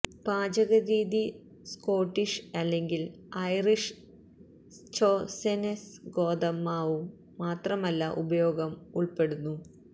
പാചകരീതി Scottish അല്ലെങ്കിൽ Irish scones ഗോതമ്പ് മാവും മാത്രമല്ല ഉപയോഗം ഉൾപ്പെടുന്നു